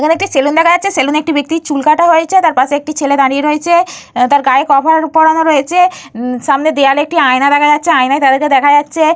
এখানে একটি সেলুন দেখা যাচ্ছে। সেলুনে একটি ব্যক্তির চুল কাটা হয়েছে। তার পাশে একটি ছেলে দাঁড়িয়ে রয়েছে। তার গায়ে কভার পড়ানো রয়েছে। সামনে দেয়ালে একটি আয়না দেখা যাচ্ছে। আয়নায় তাদেরকে দেখা যাচ্ছে।